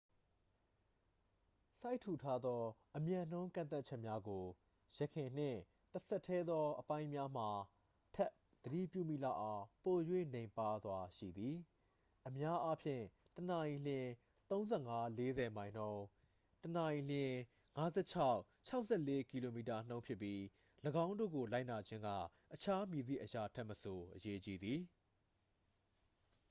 စိုက်ထူထားသော အမြန်နှုန်းကန့်သတ်ချက်များကို ယခင်နှင့် တစ်ဆက်တည်းသော အပိုင်းများမှာထက် သတိပြုမိလောက်အောင် ပို၍ နိမ့်ပါးစွာရှိသည် - အများအားဖြင့် တစ်နာရီလျှင် ၃၅-၄၀ မိုင်နှုန်း တစ်နာရီလျှင် ၅၆-၆၄ ကီလိုမီတာနှုန်း ဖြစ်ပြီး ၎င်းတို့ကို လိုက်နာခြင်းက အခြားမည်သည့်အရာထက်မဆို အရေးကြီးသည်။